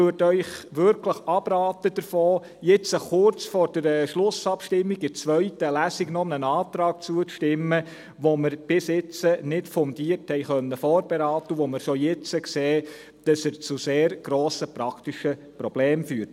Ich würde Ihnen wirklich davon abraten, jetzt kurz vor der Schlussabstimmung in der zweiten Lesung noch einem Antrag zuzustimmen, den wir bis jetzt nicht fundiert vorberaten konnten, und bei dem wir schon jetzt sehen, dass er zu sehr grossen praktischen Problemen führt.